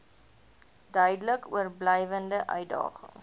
duidelik oorblywende uitdagings